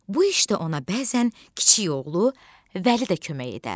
Bu işdə ona bəzən kiçik oğlu Vəli də kömək edərdi.